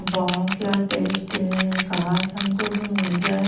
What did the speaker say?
वाह क्या टेस्ट है काश हमको भी मिल जाए--